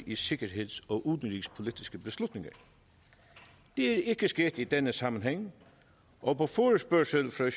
i sikkerheds og udenrigspolitiske beslutninger det er ikke sket i denne sammenhæng og på forespørgsel fra